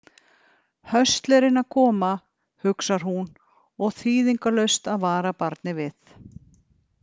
Höstlerinn að koma, hugsar hún, og þýðingarlaust að vara barnið við.